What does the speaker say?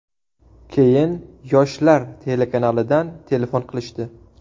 Keyin ‘Yoshlar’ telekanalidan telefon qilishdi.